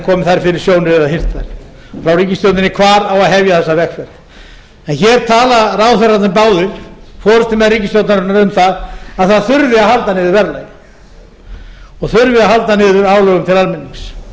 komið þær fyrir sjónir eða hirt þær frá ríkisstjórninni hvar á að hefja þessa vegferð en hér tala ráðherrarnir báðir forustumenn ríkisstjórnarinnar um það að það þurfi að halda niðri verðlagi og þurfi að halda niðri álögum til almennings